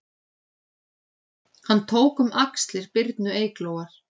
Hann tók um axlir Birnu Eyglóar